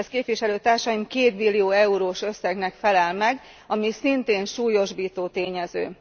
Ez, képviselőtársaim, kétbillió eurós összegnek felel meg, ami szintén súlyosbító tényező.